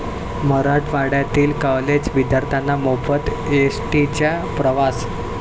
मराठवाड्यातील कॉलेज विद्यार्थ्यांना मोफत एसटीचा प्रवास